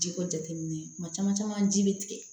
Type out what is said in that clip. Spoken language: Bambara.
Ji ko jateminɛ kuma caman caman ji bɛ tigɛ